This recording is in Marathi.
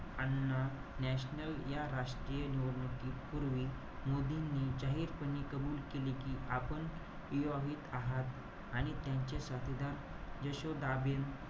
आणणं. National या निवडणुकीपूर्वी, मोदींनी जाहीरपणे कबुल केले कि आपण विवाहित आहात आणि त्यांच्या साथीदार यशोदाबेन,